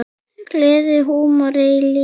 Gleði, húmor og líf.